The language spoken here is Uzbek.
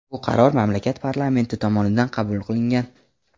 Bu qaror mamlakat parlamenti tomonidan qabul qilingan.